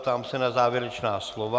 Ptám se na závěrečná slova.